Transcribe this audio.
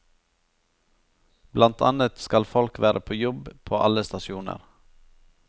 Blant annet skal folk være på jobb på alle stasjoner.